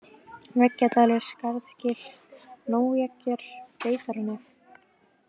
Veggjadalur, Skarðgil, Nóneggjar, Beitarnef